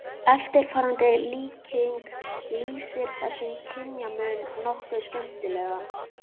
Eftirfarandi líking lýsir þessum kynjamun nokkuð skemmtilega